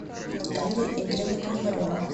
наталья игоревна пономарева